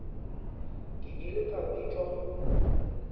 ke ile ka bitšwa go